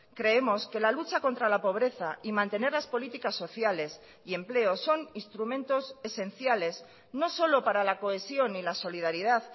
creemos que la lucha contra la pobreza y mantener las políticas sociales y empleos son instrumentos esenciales no solo para la cohesión y la solidaridad